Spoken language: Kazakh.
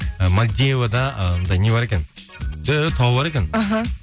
ы мальдивада ыыы не бар екен күшті тау бар екен аха